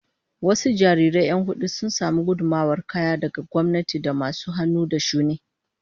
Wasu jarirai 'yan hudu sun samu gudummawar kaya daga gwamnati da masu hannu da shuni